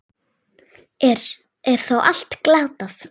Er þá allt glatað?